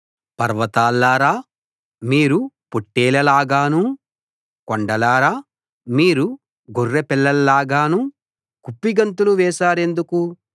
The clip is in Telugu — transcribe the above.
పర్వతాల్లారా మీరు పొట్లేళ్లలాగానూ కొండల్లారా మీరు గొర్రెపిల్లల్లాగానూ కుప్పిగంతులు వేశారెందుకు